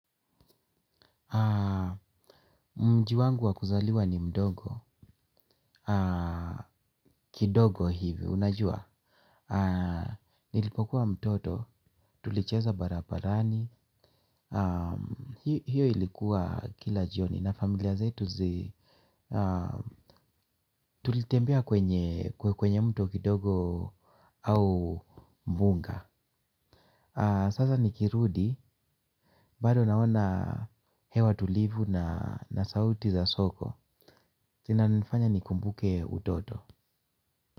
Mji wangu wa kuzaliwa ni mdogo. Kidogo hivi, unajua? Nilipokuwa mtoto, tulicheza barabarani. Hio ilikuwa kila jioni na familia zetu zi tulitembea kwenye mto kidogo au mbunga. Sasa nikirudi, bado naona hewa tulivu na sauti za soko. Vinanifanya nikumbuke utoto.